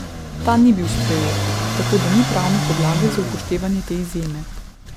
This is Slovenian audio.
Ta ni bil sprejet, tako da ni pravne podlage za upoštevanje te izjeme.